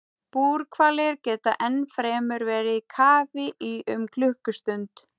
Búrhvalir geta ennfremur verið í kafi í um klukkustund.